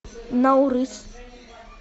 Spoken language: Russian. наурыз